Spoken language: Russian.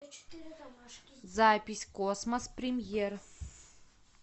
запись космос премьер